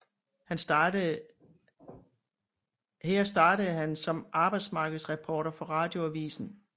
Her startede han som arbejdsmarkedsreporter for Radioavisen